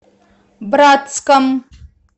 братском